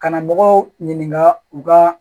Karamɔgɔw ɲininka u ka